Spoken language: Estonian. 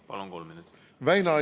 Palun!